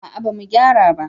a'a ba mu gyara ba